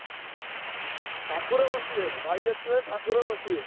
ଠାକୁର ବସିବେ ଭାଇ ଅଛି ମାନେ ଠାକୁର ବସିବେ।